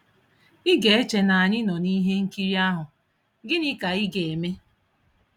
Ị ga-eche na anyị nọ na ihe nkiri ahụ, "Gịnị Ka Ị Ga-eme."